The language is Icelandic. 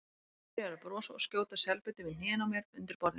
Byrjaður að brosa og skjóta selbitum í hnén á mér undir borðinu.